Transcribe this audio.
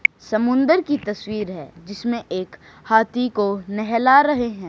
समुद्र की तस्वीर है जिसमें एक हाथी को नहला रहे हैं।